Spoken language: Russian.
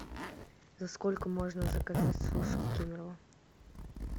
за сколько можно заказать суши в кемерово